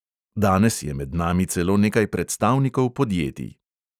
Danes je med nami celo nekaj predstavnikov podjetij.